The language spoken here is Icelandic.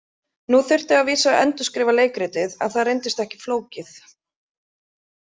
Nú þurfti að vísu að endurskrifa leikritið en það reyndist ekki flókið.